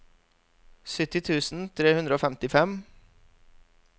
sytti tusen tre hundre og femtifem